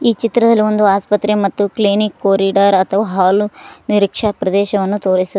ಚಿತ್ರದಲ್ಲಿ ಒಂದು ಆಸ್ಪತ್ರೆ ಮತ್ತು ಕ್ಲಿನಿಕ್ ಕೊರಿಡಾರ್ ಅಥವಾ ಹಾಲು ನಿರೀಕ್ಷಾ ಪ್ರದೇಶವನ್ನು ತೋರಿಸುತ್ --